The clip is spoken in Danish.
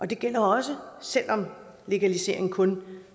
det gælder også selv om legalisering kun